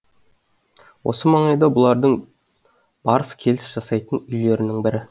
осы маңайда бұлардың барыс келіс жасайтын үйлерінің бірі